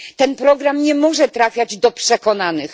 Ten program nie może trafiać do przekonanych.